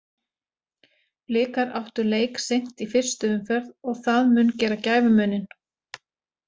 Blikar áttu leik seint í fyrstu umferð og það mun gera gæfumuninn.